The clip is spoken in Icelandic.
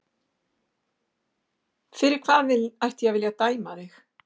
Fyrir hvað ætti ég að vilja dæma þig?